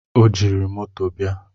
o jiri moto bịa